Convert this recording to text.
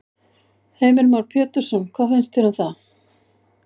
Heimir Már Pétursson: Hvað finnst þér um það?